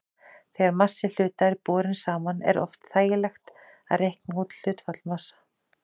Þegar massi hluta er borinn saman er oft þægilegt að reikna út hlutfall massanna.